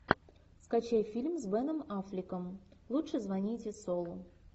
скачай фильм с беном аффлеком лучше звоните солу